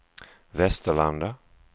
Västerlanda